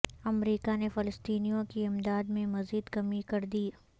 امریکا نے فلسطینیوں کی امداد میں مزید کمی کر دی